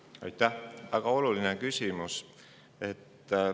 väga oluline küsimus.